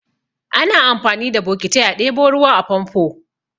Ana amfani da bokitai a ɗebo ruwa a famfo.